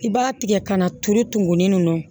I b'a tigɛ ka na turu tumuni nunnu na